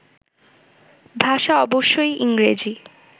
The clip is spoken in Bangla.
ভাষা অবশ্যই ইংরেজি